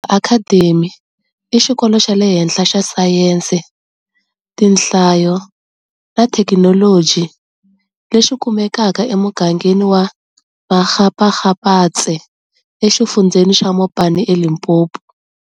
Academy i xikolo xa le henhla xa sayense, tinhlayo na thekinoloji lexi kumekaka emugangeni wa Makgakgapatse exifundzheni xa Mopani eLimpopo.